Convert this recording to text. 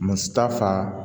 Masa faa